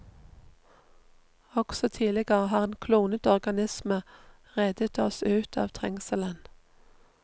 Også tidligere har en klonet organisme reddet oss ut av trengselen.